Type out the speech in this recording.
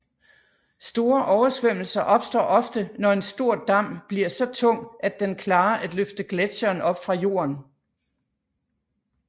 Store oversvømmelser opstår ofte når en stor dam bliver så tung at den klarer at løfte gletsjeren op fra jorden